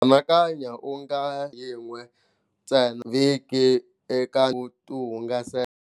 Anakanya u nga yin'we ntsena vhiki eka ku ti hungasela.